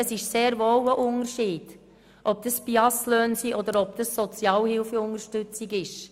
Es macht sehr wohl einen Unterschied, ob es sich um BIAS-Löhne oder Sozialhilfeunterstützung handelt.